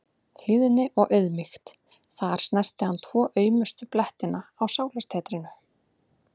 Hlýðni og auðmýkt- þar snerti hann tvo aumustu blettina á sálartetrinu.